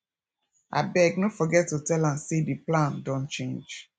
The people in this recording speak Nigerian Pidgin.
abeg no forget to tell am say the plan don change